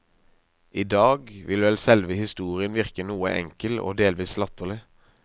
I dag vil vel selve historien virke noe enkel og delvis latterlig.